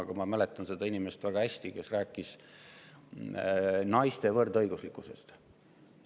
Aga ma väga hästi mäletan seda inimest, kes rääkis naiste võrdõiguslikkusest.